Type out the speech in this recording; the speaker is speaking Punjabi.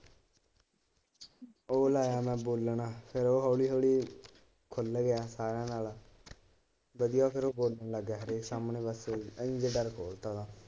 ਉਹ ਲਾਇਆ ਮੈ ਹਬੋਲਣ ਉਹ ਹੋਲੀ ਹੋਲੀ ਖੁਲ ਗਿਆ ਸਾਰਿਆ ਨਾਲ ਵਧੀਆ ਫੇਰ ਉਹ ਬੋਲਣ ਲੱਗ ਗਿਆ ਹਰੇਕ ਸਾਹਮਣੇ .